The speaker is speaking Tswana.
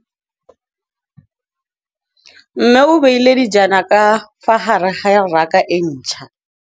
Mmê o beile dijana ka fa gare ga raka e ntšha.